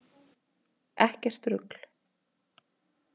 Ekkert rugl!